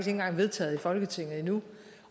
engang vedtaget af folketinget endnu